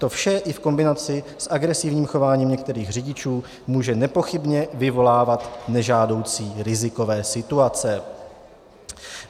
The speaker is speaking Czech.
To vše i v kombinaci s agresivním chováním některých řidičů může nepochybně vyvolávat nežádoucí rizikové situace.